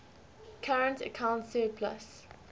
current account surplus